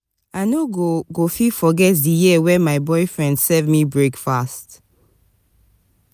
i no go go fit forget di year wen my boyfriend serve me breakfast.